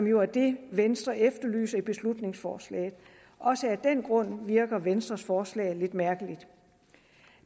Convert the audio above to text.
jo er det venstre efterlyser i beslutningsforslaget også af den grund virker venstres forslag lidt mærkeligt